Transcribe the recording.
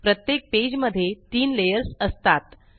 प्रत्येक पेज मध्ये तीन लेयर्स असतात